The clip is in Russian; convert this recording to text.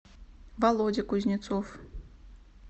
володя кузнецов